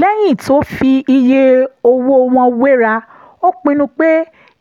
lẹ́yìn tó fi iye owó wọn wéra ó pinnu pé